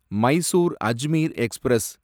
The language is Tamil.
மைசூர் அஜ்மீர் எக்ஸ்பிரஸ்